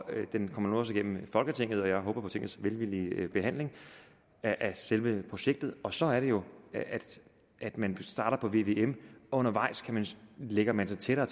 det kommer nu også igennem folketinget og jeg håber på tingets velvillige behandling af selve projektet og så er det jo at man starter på vvm undervejs lægger man sig tættere